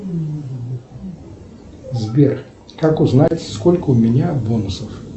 сбер как узнать сколько у меня бонусов